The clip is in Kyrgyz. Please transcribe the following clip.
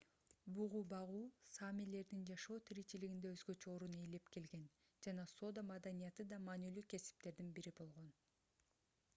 бугу багуу саамилердин жашоо тиричилигинде өзгөчө орун ээлеп келген жана соода маданияты да маанилүү кесиптердин бири болгон